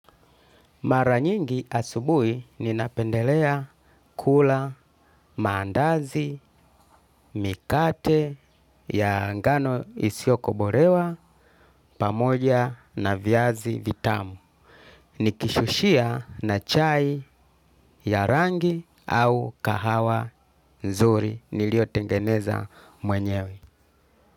Maranyingi asubui ninapendelea kula, mandazi, mikate, ya angano isiokoborewa, pamoja na vyazi vitamu. Nikishushia na chai ya rangi au kahawa nzuri. Niliyo tengeneza mwenyewe.